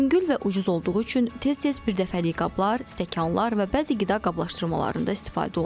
Yüngül və ucuz olduğu üçün tez-tez birdəfəlik qablar, stəkanlar və bəzi qida qablaşdırmalarında istifadə olunur.